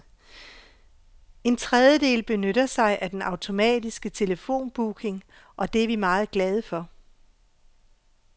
En tredjedel benytter sig af den automatiske telefonbooking, og det er vi meget glade for.